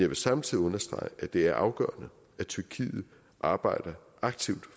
vil samtidig understrege at det er afgørende at tyrkiet arbejder aktivt